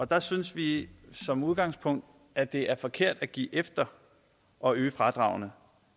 der synes vi som udgangspunkt at det er forkert at give efter og øge fradragene